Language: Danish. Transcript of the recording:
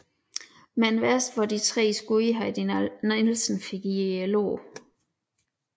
Men værst var de tre skud Heidi Nielsen fik i lårene